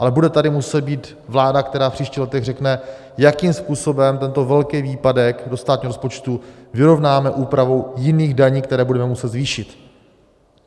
Ale bude tady muset být vláda, která v příštích letech řekne, jakým způsobem tento velký výpadek do státního rozpočtu vyrovnáme úpravou jiných daní, které budeme muset zvýšit.